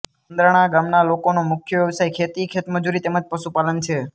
ચંન્દ્રાણા ગામના લોકોનો મુખ્ય વ્યવસાય ખેતી ખેતમજૂરી તેમ જ પશુપાલન છે